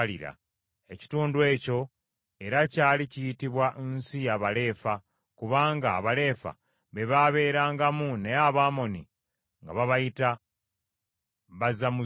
Ekitundu ekyo era kyali kiyitibwa nsi ya Baleefa, kubanga Abaleefa be baabeerangamu naye Abamoni nga babayita Bazamuzumu.